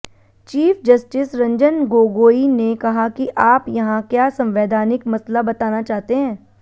chief justice Ranjan Gogoi ने कहा कि आप यहां क्या संवैधानिक मसला बताना चाहते हैं